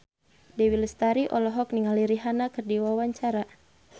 Dewi Lestari olohok ningali Rihanna keur diwawancara